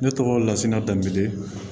Ne tɔgɔ lasina dab